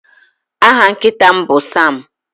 Aha nkịta m bụ Sam.